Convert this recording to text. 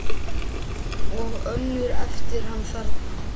Og önnur eftir hann þarna